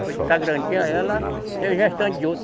Depois de estar grandinho, aí ela. gestante de outro.